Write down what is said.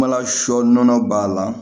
Kumala sɔ nɔnɔ b'a la